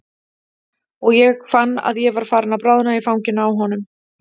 Og ég fann að ég var farin að bráðna í fanginu á honum.